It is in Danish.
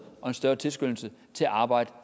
og en større tilskyndelse til at arbejde